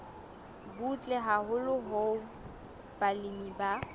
butle haholo hoo balemi ba